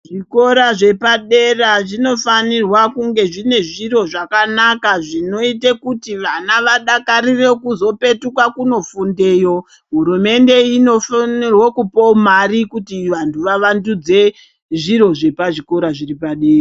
Zvikora zvepadera zvinofanirwa kunga zvine zviro zvakanaka zvinoita kuti vana vadakarire kuzopetuka kunofundeyo. Hurumende inofanirwa kupawo mari kuti vantu vavandudze zviro zvepazvikora zviri padera.